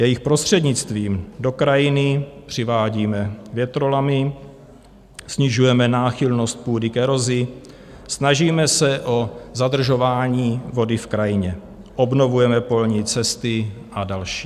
Jejich prostřednictvím do krajiny přivádíme větrolamy, snižujeme náchylnost půdy k erozi, snažíme se o zadržování vody v krajině, obnovujeme polní cesty a další.